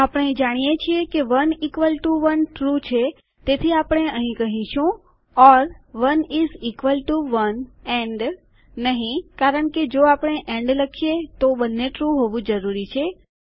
આપણે જાણીએ છીએ કે 1 ઇકવલ ટુ 1 ટ્રૂ છે તેથી અહીં આપણે કહીશું or 1 is equal to 1 and નહીં કારણકે જો આપણે એન્ડ કહીએ તો બંને ટ્રૂ હોવું જરૂરી છે